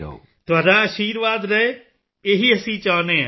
ਤੁਹਾਡਾ ਅਸ਼ੀਰਵਾਦ ਰਹੇ ਇਹੀ ਅਸੀਂ ਚਾਹੁੰਦੇ ਹਾਂ